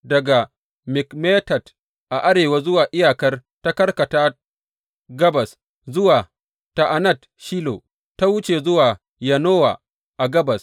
Daga Mikmetat a arewa kuwa iyakar ta karkata gabas zuwa Ta’anat Shilo, ta wuce zuwa Yanowa a gabas.